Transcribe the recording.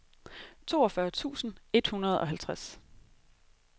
toogfyrre tusind et hundrede og halvtreds